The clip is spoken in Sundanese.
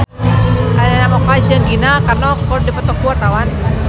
Arina Mocca jeung Gina Carano keur dipoto ku wartawan